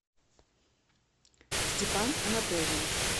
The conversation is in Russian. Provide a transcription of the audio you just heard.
степан анатольевич